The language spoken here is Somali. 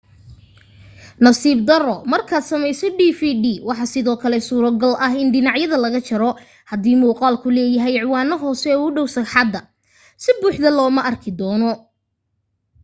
nasiib daro markaad samayso dvd waxaa sidoo kale suurto gal ah in dhanacyada laga jaro hadii muqaalku leeyahay ciwaano hoose oo u dhow sagxadda si buuxda looma arki doono